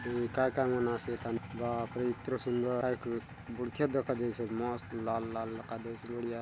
ये काय - काय मन आसे ए थाने बाप रे इतरो सुंदर बढ़िया दखा देयसि आचे मस्त लाल - लाल दखा देयसि आचे बढ़िया --